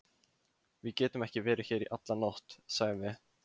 Við getum ekki verið hér í alla nótt, sagði